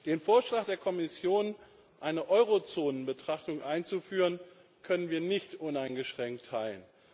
Den Vorschlag der Kommission, eine Eurozonenbetrachtung einzuführen, können wir nicht uneingeschränkt teilen.